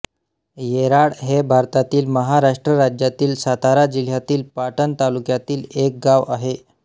येराड हे भारतातील महाराष्ट्र राज्यातील सातारा जिल्ह्यातील पाटण तालुक्यातील एक गाव आहे